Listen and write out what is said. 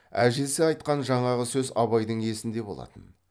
әжесі айтқан жаңағы сөз абайдың есінде болатын